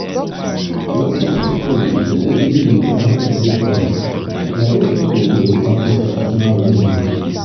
most of di pipo wey dey believe in charms and rituals na those pipo wey dey practice traditional religion